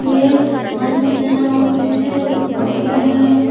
ये हंस है और कुछ बकुले हैं।